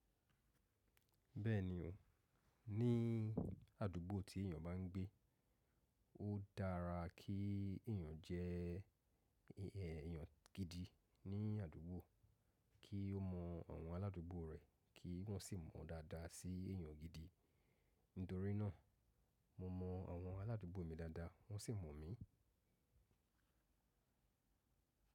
Bẹ́ẹ̀ni o, ní àdúgbò tí èyàn bá ń gbé, ó dára kí èyàn jẹ́ èèyàn gidi ní àdúgbò, kí ó mọ àwọn aláàdúgbò rẹ̀ kí wọ́n sì mọ̀ dáadáa sí èyàn gidi. Nítorí náà mo mọ àwọn aláàdúgbò mi dáadáa wọ́n sì mọ̀ mí.